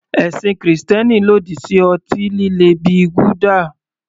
Ẹ̀sìn Kristẹni lòdì sí ọtí líle bíi gulder.